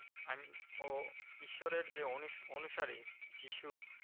আহ ও ঈশ্বরের যে অনুসারী যীশু